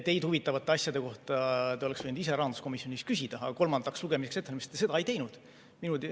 Teid huvitavate asjade kohta te oleksite võinud ise rahanduskomisjonis küsida, aga kolmandaks lugemiseks ettevalmistamisel te seda ei teinud.